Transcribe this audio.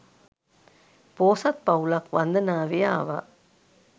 පෝසත් පවුලක් වන්දනාවේ ආවා